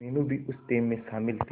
मीनू भी उस टीम में शामिल थी